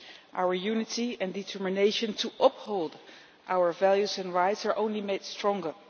Our unity and determination to uphold our values and rights are only made stronger.